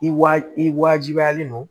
I wa i wajibiyalen don